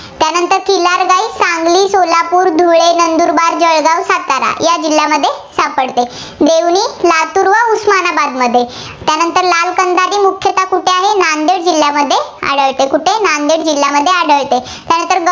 कोल्हापूर, धुळे, नंदुरबार, जळगाव, सातारा या जिल्ह्यांमध्ये सापडते. देवणी लातूर व उस्मानाबादमध्ये त्यानंतर लाल कंदारी मुख्यतः कुठे आहे? नांदेड जिल्ह्यामध्ये आढळते. कुठे नांदेड जिल्ह्यामध्ये आढळते. त्यानंतर